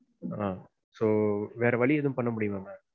ஆஹ் so வேற வழி எதும் பண்ணமுடியுமா ma'am?